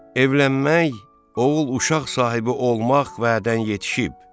Evlənmək, oğul-uşaq sahibi olmaq vədədən yetişib.